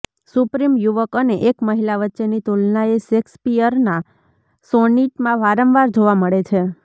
supreme યુવક અને એક મહિલા વચ્ચેની તુલનાએ શેક્સપીયરના સોનિટમાં વારંવાર જોવા મળે છે